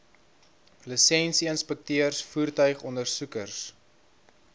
lisensie inspekteurs voertuigondersoekers